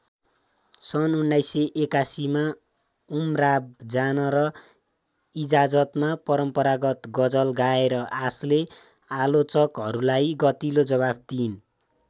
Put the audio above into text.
सन् १९८१ मा उमराव जान र इजाजतमा परम्परागत गजल गाएर आशाले आलोचकहरूलाई गतिलो जबाफ दिइन्।